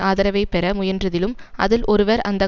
ஆதரவை பெற முயன்றதிலும் அதில் ஒருவர் அந்த